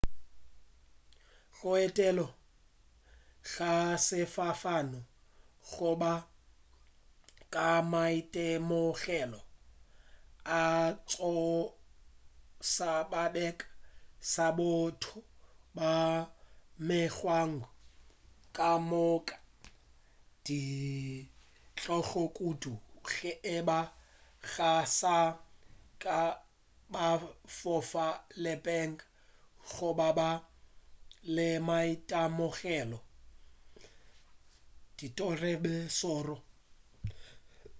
go etela ka sefofane go ka ba maitemogelo a go tšhoša bakeng sa batho ba mengwaga kamoka le ditlogo kudu ge eba ga saka ba fofa peleng goba ba na le maitemogelo a tiragalo ye šoro